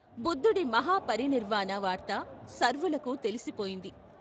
బుద్ధుడి మహాపరినిర్వాణ వార్త సర్వులకూ తెలిసిపోయింది.